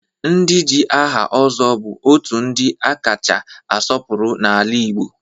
Ndị ji aha Ozo bụ otu ndị a kacha asọpụrụ n'ala Igbo